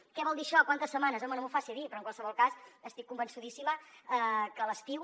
què vol dir això quantes setmanes home no m’ho faci dir però en qualsevol cas estic convençudíssima que a l’estiu